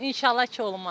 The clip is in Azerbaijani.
İnşallah ki, olmaz.